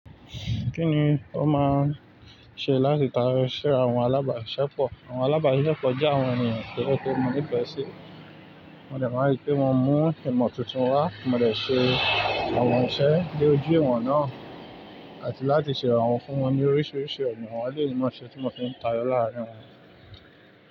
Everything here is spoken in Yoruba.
Kí ni ó máa ṣe láti darí iṣẹ́ àwọn alábàásiṣepọ̀? Àwọn alábàásiṣepọ̀ jẹ́ àwọn ènìyàn tó jẹ́ pe mọ́ ní ìfẹ́ sí. Mo dè maa n ri pé mo mu ìmọ̀ tuntun wá, mo dè ṣe àwọn iṣẹ́ dóju ìwọ̀n náà. Àti láti ṣe iranwọ fún wọn ní oríṣiríṣi ọ̀nà, awọ́n èleyi ní mọ̀ maa n ṣe tí mo fi ń tayo làárín wọn.